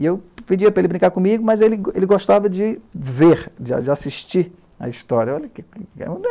E eu pedia para ele brincar comigo, mas ele gostava de ver, de assistir à história. Olha que